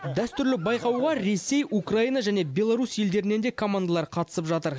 дәстүрлі байқауға ресей украина және белорусь елдерінен де командалар қатысып жатыр